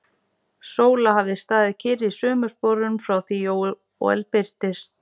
Sóla hafði staðið kyrr í sömu sporum frá því Jóel birtist.